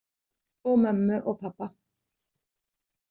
Og mömmu og pabba.